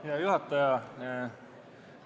Hea juhataja!